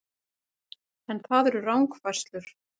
En það eru rangfærslur